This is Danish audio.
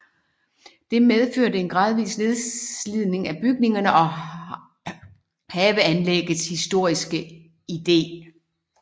Det medførte en gradvis nedslidning af bygninger og haveanlæggets historiske idé